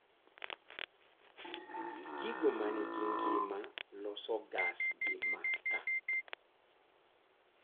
Gigo manigi ngima loso gas gi makaa